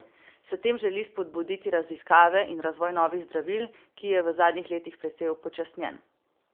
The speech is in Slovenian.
S tem želi spodbuditi raziskave in razvoj novih zdravil, ki je v zadnjih letih precej upočasnjen.